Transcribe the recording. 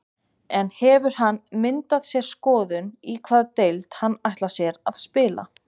En hefur hann myndað sér skoðun í hvaða deild hann ætlar sér að spila?